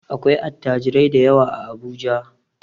Akwai attajirai dayawa a Abuja.